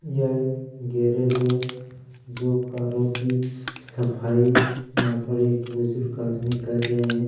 यह एक गगैरेज है जो कि कारो की सफाई यहाँ पर एक बजुर्ग आदमी कर रहे हैं।